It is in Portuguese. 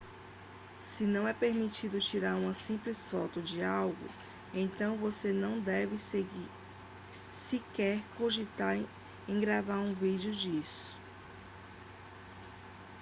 se não é permitido tirar uma simples foto de algo então você não deve sequer cogitar em gravar um vídeo disso